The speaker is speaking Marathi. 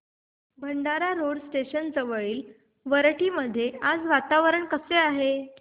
भंडारा रोड स्टेशन जवळील वरठी मध्ये आज वातावरण कसे आहे